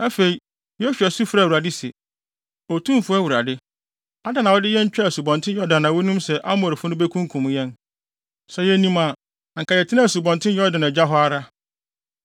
Afei, Yosua su frɛɛ Awurade se, “Otumfo Awurade, adɛn na wode yɛn twaa Asubɔnten Yordan a wunim sɛ Amorifo no bekunkum yɛn? Sɛ yenim a, anka yɛtenaa Asubɔnten Yordan agya hɔ ara.